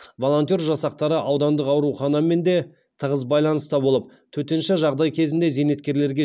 волонтер жасақтары аудандық ауруханамен де тығыз байланыста болып төтенше жағдай кезеңінде зейнеткерлерге